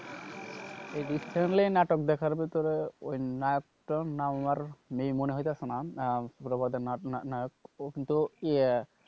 recently নাটক দেখার ভেতরে ওই নায়ক হইতেছে না ও কিন্তু,